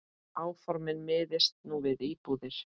Áformin miðist nú við íbúðir.